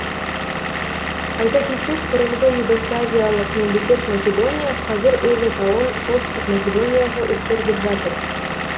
айта кетсек бұрынғы югославиялық мемлекет македония қазір өз атауын солтүстік македонияға өзгертіп жатыр